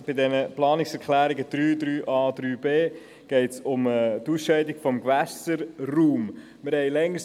Bei den Planungserklärungen 3, 3a und 3b geht es um die Ausscheidung des Gewässerraums.